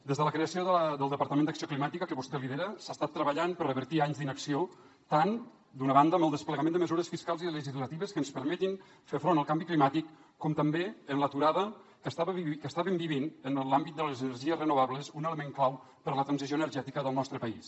des de la creació del departament d’acció climàtica que vostè lidera s’ha estat treballant per revertir anys d’inacció tant d’una banda amb el desplegament de mesures fiscals i legislatives que ens permetin fer front al canvi climàtic com també amb l’aturada que estàvem vivint en l’àmbit de les energies renovables un element clau per la transició energètica del nostre país